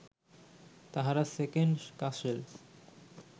তাঁহারা সেকেণ্ড কাসের